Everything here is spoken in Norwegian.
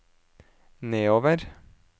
nedover